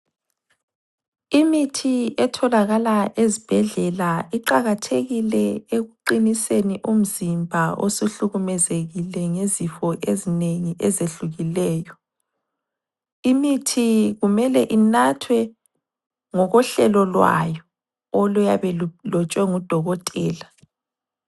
Imithi etholakala ezibhedlela iqakathekile ekuqiniseni umzimba osuhlukumezekile ngezifo ezinengi ezehlukileyo. Imithi kumele inathwe ngokohlelo lwayo oluyabe lulotshwe ngudokotela.